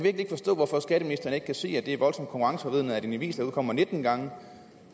ikke forstå hvorfor skatteministeren ikke kan se at det er voldsomt konkurrenceforvridende at en avis der udkommer nitten gange